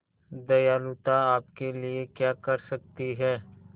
दयालुता आपके लिए क्या कर सकती है